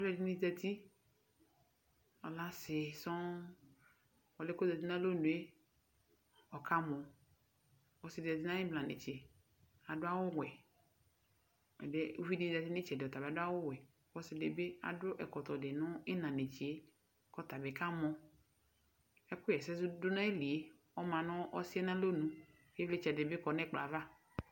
Alu ɛdɩnɩ zǝti, alɛ asi sɔŋ Ɔlʋ yɛ kʋ ozǝtɩ nʋ alɔnʋ yɛ ɔkamɔ Ɔsɩ di zǝti nʋ ayʋ imla netse adu awuwɛ Uvi di zǝti nʋ ayʋ ɩtsɛdɩ, ɔta bɩ adu awuwɛ, kʋ ɔsɩ di nʋ ayʋ ɩna netse yɛ adu ɛkɔtɔ, kʋ atani kamɔ Ɛkʋɣɛsɛdʋ nʋ ayili yɛ ɔma nʋ ɔsɩ yɛ nʋ alɔnʋ ɛtʋ Ivlitsɛ dini bɩ kɔ nʋ ɛkplɔ yɛ ava